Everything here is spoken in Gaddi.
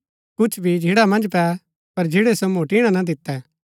कुछ बी झिन्ड़ा मन्ज पै पर झिन्ड़ै सो मोटिणा ना दितै